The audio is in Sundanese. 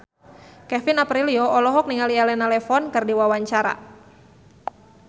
Kevin Aprilio olohok ningali Elena Levon keur diwawancara